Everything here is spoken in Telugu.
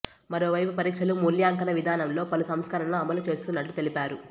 మరోవైపు పరీక్షల మూల్యాంకన విధానంలో పలు సంస్కరణలు అమలు చేస్తున్నట్లు తెలిపారు